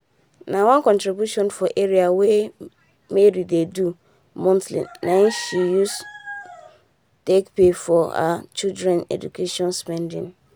na one contribution for area wey mary dey do monthly nai she use take pay for her children education spendings.